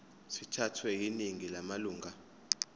sithathwe yiningi lamalunga